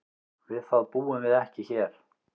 Við það búum við ekki hér.